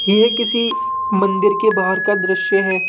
यह किसी मंदिर के बाहर का दृश्य है।